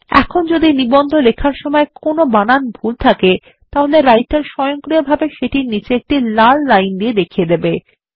এখন যদি নিবন্ধ লেখার সময় কোন বানান ভুল থাকে তাহলে রাইটার স্বয়ংক্রিয়ভাবে সেটির নিচে একটি লাল লাইন দিয়ে দেখিয়ে দেবে